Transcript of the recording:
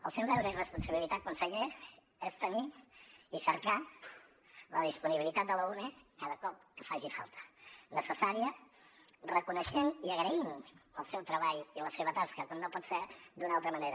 el seu deure i responsabilitat conseller és tenir i cercar la disponibilitat de l’ume cada cop que faci falta necessària reconeixent i agraint el seu treball i la seva tasca com no pot ser d’una altra manera